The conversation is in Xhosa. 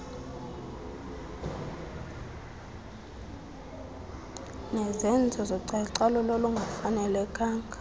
nezenzo zocalucalulo olungafanelekanga